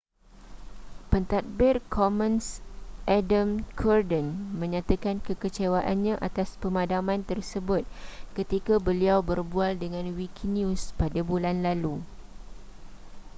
pentadbir commons adam cuerden menyatakan kekecewaannya atas pemadaman tersebut ketika beliau berbual dengan wikinews pada bulan lalu